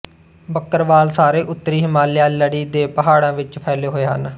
ਬੱਕਰਵਾਲ ਸਾਰੇ ਉੱਤਰੀ ਹਿਮਾਲਿਆ ਲੜੀ ਦੇ ਪਹਾੜਾਂ ਵਿੱਚ ਫੈਲੇ ਹੋਏ ਹਨ